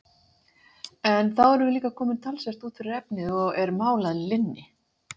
En þá erum við líka komin talsvert út fyrir efnið, og er mál að linni!